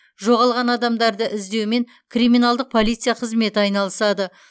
жоғалған адамдарды іздеумен криминалдық полиция қызметі айналысады